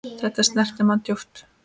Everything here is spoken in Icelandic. Þetta snerti mann djúpt.